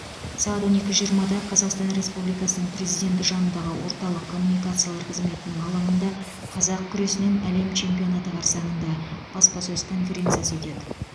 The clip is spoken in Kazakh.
сағат он екі жиырмада қазақстан республикасының президенті жанындағы орталық коммуникациялар қызметінің алаңында қазақ күресінен әлем чемпионаты қарсаңында баспасөз конференциясы өтеді